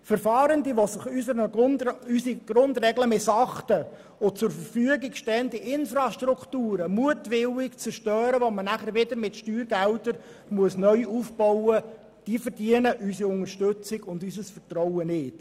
Fahrende, die unsere Grundregeln missachten und zur Verfügung stehende Infrastrukturen mutwillig zerstören, sodass diese mit Steuergeldern neu aufgebaut werden müssen, verdienen unsere Unterstützung und unser Vertrauen nicht.